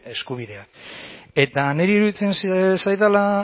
eskubideak eta niri iruditzen